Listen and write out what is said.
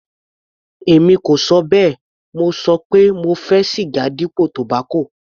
Èmi kò ṣọ bẹ́ẹ̀, mo ṣọ pé mo fẹ́ siga dípò tobacco.